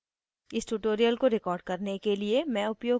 इस tutorial को record करने के लिए मैं उपयोग कर रही हूँ